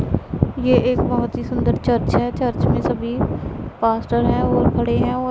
ये एक बहुत ही सुन्दर चर्च है चर्च में सभी पास्टर हैं और खड़े है और--